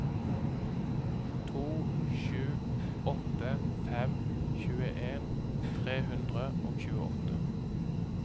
to sju åtte fem tjueen tre hundre og tjueåtte